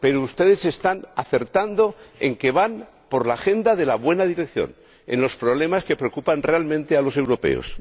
Pero ustedes están acertando en que van por la agenda de la buena dirección en los problemas que preocupan realmente a los europeos.